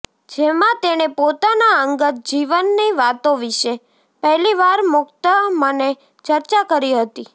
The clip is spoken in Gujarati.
જેમાં તેણે પોતાનાં અંગત જીવનની વાતો વિષે પહેલીવાર મુક્ત મને ચર્ચા કરી હતી